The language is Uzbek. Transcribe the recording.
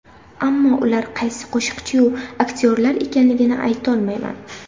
Ammo ular qaysi qo‘shiqchiyu aktyorlar ekanligini aytolmayman.